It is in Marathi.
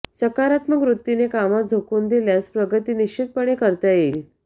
सकारात्मक वृत्तीने कामात झोकून दिल्यास प्रगती निश्चितपणे करता येईल